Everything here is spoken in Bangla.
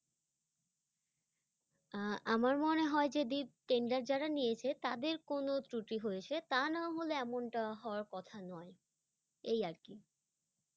আহ আমার মনে হয় যে দীপ tender যারা নিয়েছে তাদের কোনো ত্রুটি হয়েছে। তা না হলে এমনটা হওয়ার কথা নয়, এই আর কি।